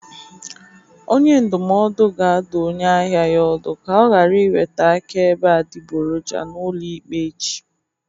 Onye ndụmọdụ ga-adụ onye ahịa ya ọdụ ka ọ ghara iweta akaebe adịgboroja n'ụlọ ikpe echi